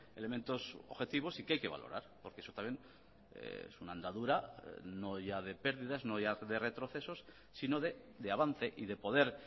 elementos objetivos y que hay que valorar porque eso también es una andadura no ya de pérdidas no ya de retrocesos sino de avance y de poder